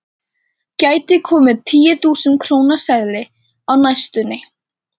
Gæti komið tíu þúsund króna seðill á næstunni?